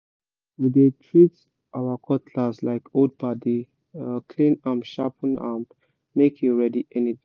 we dey treat our cutlass like old padi—clean am sharpen am make e ready anytime